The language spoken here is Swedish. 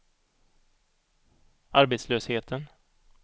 arbetslösheten